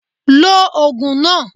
Lo ògùn náà